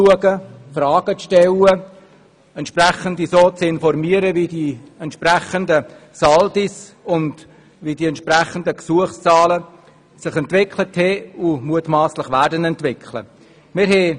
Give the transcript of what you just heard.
Wir konnten Fragen stellen und uns informieren lassen, wie sich die entsprechenden Saldi und Gesuchszahlen entwickelt haben und sich mutmasslich entwickeln werden.